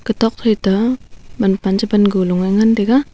tokphai to manpan chepan golu ngan taiga.